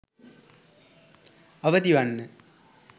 අවදිවන්න